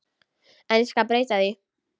En ég skal breyta því.